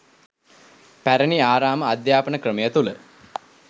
පැරණි ආරාම අධ්‍යාපන ක්‍රමය තුළ